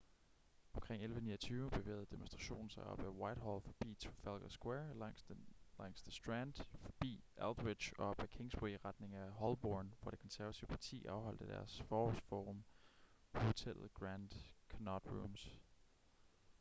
omkring 11:29 bevægede demonstrationen sig op ad whitehall forbi trafalgar square langs the strand forbi aldwych og op ad kingsway i retning af holborn hvor det konservative parti afholdt deres forårs-forum på hotellet grand connaught rooms